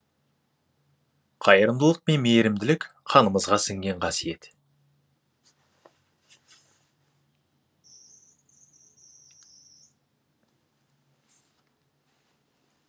қайырымдылық пен мейірімділік қанымызға сіңген қасиет